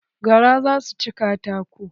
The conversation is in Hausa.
Garan za su ci katakon.